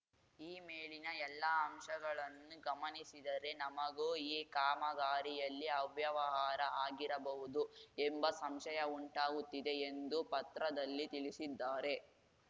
ಈ ಮೇಲಿನ ಎಲ್ಲಾ ಅಂಶಗಳನ್ನು ಗಮನಿಸಿದರೆ ನಮಗೂ ಈ ಕಾಮಗಾರಿಯಲ್ಲಿ ಅವ್ಯವಹಾರ ಆಗಿರಬಹುದು ಎಂಬ ಸಂಶಯ ಉಂಟಾಗುತ್ತಿದೆ ಎಂದು ಪತ್ರದಲ್ಲಿ ತಿಳಿಸಿದ್ದಾರೆ